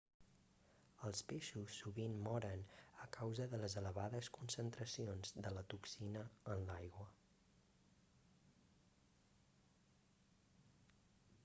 els peixos sovint moren a causa de les elevades concentracions de la toxina en l'aigua